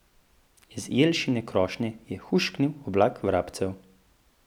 Iz jelšine krošnje je hušknil oblak vrabcev.